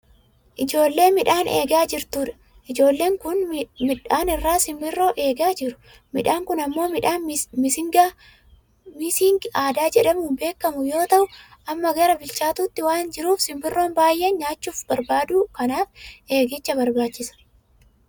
Ijoollee midhaan eegaa jirtudha. Ijoolleen kun miidhaanirraa simborroo eegaa jiru. Miidhaan kun ammoo midhaan missing aadaa jedhamuun beekkamu yoo ta'u amma gara bilchaachuutti waan jiruuf sombirroonni baayyee nyaachuuf barbaadu kanaaf eegicha barbaachisa.